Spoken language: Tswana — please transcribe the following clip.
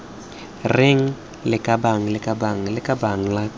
reng lakabaaan lakabaaan lakabane lak